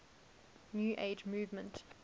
new age movement